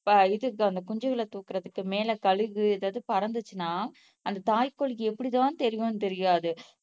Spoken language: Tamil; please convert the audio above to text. இது குஞ்சுகளை தூக்குறதுக்கு மேல கழுகு எதாவது பறந்துச்சுன்னா அந்த தாய் கோழிக்கு எப்படித் தான் தெரியும்னு தெரியாது